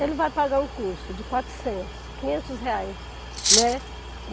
Ele vai pagar um custo de quatrocentos, quinhentos reais, né?